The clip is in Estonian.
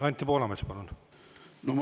Anti Poolamets, palun!